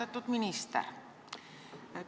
Austatud minister!